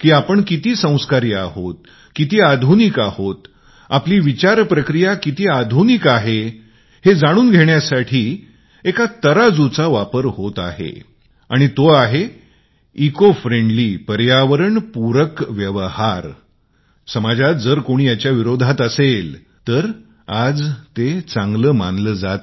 की आपण किती संस्कारी आहोत किती आधुनिक आहोत आपली वैचारिक क्षमता प्रक्रिया किती आधुनिक आहे हे जाणून घेण्यासाठी एका तराजूचा वापर होत आहे आणि तो आहे इको मैत्रित्वाचा पर्यावरणस्नेही व्यवहाराचा जो याच्या विरोधात आहे समाजात जर कोणी याच्या विरोधात असेल तर आज वाईट मानल जात